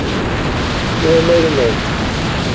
Ég hef meir en nóg.